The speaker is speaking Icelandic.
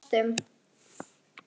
Við dæstum.